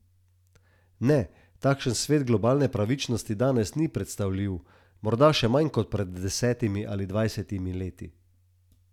Ne, takšen svet globalne pravičnosti danes ni predstavljiv, morda še manj kot pred desetimi ali dvajsetimi leti.